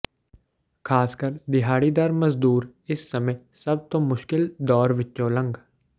ਖਾਸਕਰ ਦਿਹਾੜੀਦਾਰ ਮਜ਼ਦੂਰ ਇਸ ਸਮੇਂ ਸਭ ਤੋਂ ਮੁਸ਼ਕਲ ਦੌਰ ਵਿੱਚੋਂ ਲੰਘ